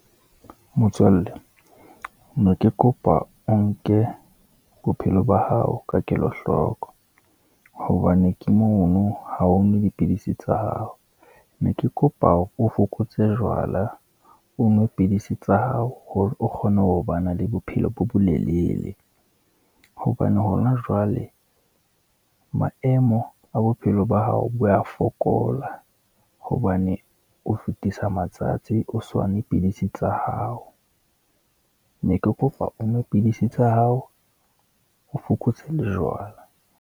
Motswalle ne ke kopa o nke bophelo ba hao ka kelo hloko, hobane ke mono ha ho nwa dipidisi tsa hao, ne ke kopa hore o fokotse jwala, o nwe pidisi tsa hao hore o kgone ho ba na le bophelo bo bolelele, hobane hona jwale maemo a bophelo ba hao bo ya fokola, hobane o fetisa matsatsi o sa nwe pidisi tsa hao. Ne ke kopa onwe pidisi tsa hao, o fokotse le jwala.